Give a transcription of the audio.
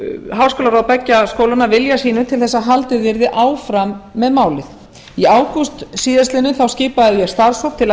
háskólaráð beggja skólanna vilja sínum til að haldið yrði áfram með málið í ágúst síðastliðnum skipaði ég starfshóp til að